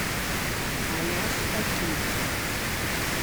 аляска кит